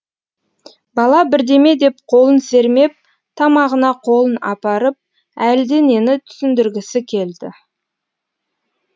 бала бірдеме деп қолын сермеп тамағына қолын апарып әлденені түсіндіргісі келді